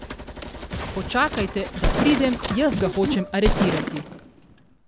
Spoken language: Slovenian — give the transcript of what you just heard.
Počakajte, da pridem, jaz ga hočem aretirati.